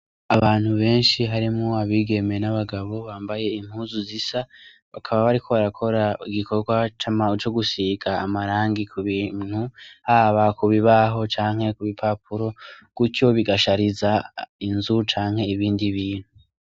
Abantu benshi harimwo abigeme n' abagabo bambaye impuzu zisa bakaba bariko barakora igikogwa co gusiga amarangi kubintu haba kubibaho canke kubipapura gutyo bigashariza inzu canke ibindi bintu.